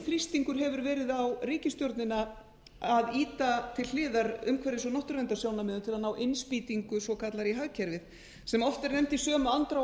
þrýstingur hefur verið á ríkisstjórnina að ýta til hliðar umhverfis og náttúruverndarsjónarmiðum til að ná innspýtingu svokallaðri í hagkerfið sem oft er nefnd í sömu andrá